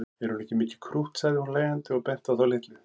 Er hún ekki mikið krútt sagði hún hlæjandi og benti á þá litlu.